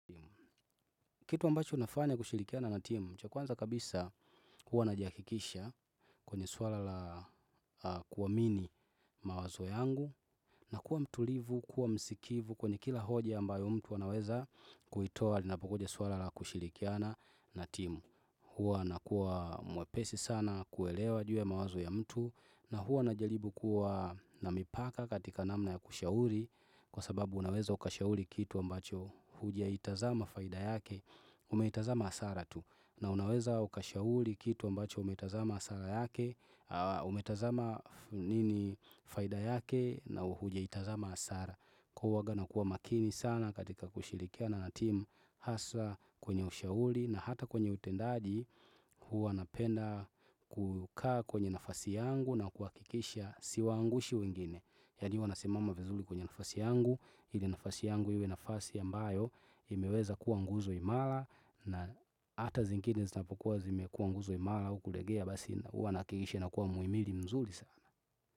Kitu ambacho nafanya kushirikiana na timu, cha kwanza kabisa hua najiakikisha kwenye swala la kuwamini mawazo yangu na kuwa mtulivu, kuwa msikivu kwenye kila hoja ambayo mtu anaweza kuitoa linapokuja swala la kushilikiana na timu. Huwa nakua mwepesi sana kuelewa juu ya mawazo ya mtu na huwa najalibu kuwa na mipaka katika namna ya kushauri Kwa sababu unaweza ukashauli kitu ambacho hujaitazama faida yake Umeitazama hasara tu na unaweza ukashauli kitu ambacho umetazama hasara yake Umetazama nini faida yake na huja itazama hasara Kwa huwaga nakua makini sana katika kushilikiana na timu hasa kwenye ushauli na hata kwenye utendaji huwa napenda kukaa kwenye nafasi yangu na kuakikisha siwaangushi wengine Yani huwa nasimama vizuli kwenye nafasi yangu ili nafasi yangu iwe nafasi ambayo imeweza kuwa nguzo imara na hata zingine zitapokuwa zimekuwa nguzo imara au kulegea Basi huwa naakikisha inakuwa muhimili mzuli sana.